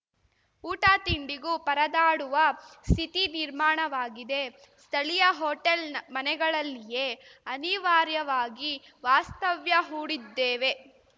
ಊಟ ತಿಂಡಿಗೂ ಪರದಾಡುವ ಸ್ಥಿತಿ ನಿರ್ಮಾಣವಾಗಿದೆ ಸ್ಥಳೀಯ ಹೋಟೆಲ್‌ ಮನೆಗಳಲ್ಲಿಯೇ ಅನಿವಾರ್ಯವಾಗಿ ವಾಸ್ತವ್ಯ ಹೂಡಿದ್ದೇವೆ